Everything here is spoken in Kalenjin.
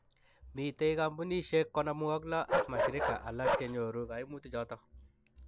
Mitei kampunisiek 56 ak mashirika alak che nyoru kaimutichoto.